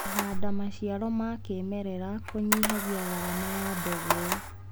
Kũhanda maciaro ma kĩmerera kũnyihagia garama ya mbegũ.